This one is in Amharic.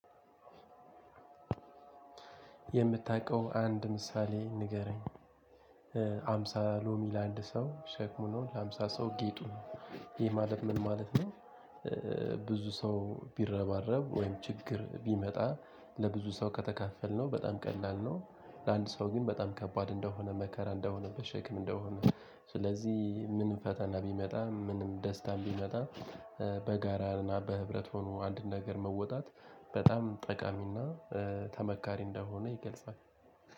የምታውቀው አንድ ምሳሌ ንገረኝ ሃምሳ ሎሚ ለአንድ ሰው ሸክሙ ነው ለሀምሳ ሰው ጌጡ ነው ይህ ማለት ምን ማለት ነው? ብዙ ሰው ቢረባረብ ወይም ችግር ቢመጣ ለብዙ ሰው ከተካፈልነው በጣም ቀላል ነው። ለአንድ ሰው ግን በጣም ከባድ እንደሆነ መከራ እንደሆነ ሸክም እንደሆነ ስለዚህ ምንም ፈተና ቢመጣ ምንም ደስታም ቢመጣ። በጋራና በህብረት ሆኖ አንድን ነገር መወጣት በጣም ጠቃሚና ተመካሪ እንደሆነ ይገልጻል።